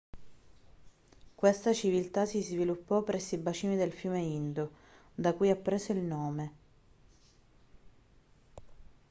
questa civiltà si sviluppo presso i bacini del fiume indo da cui ha preso il nome